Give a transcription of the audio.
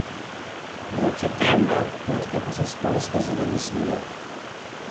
Noč je temna, potke pa so spolzke zaradi snega.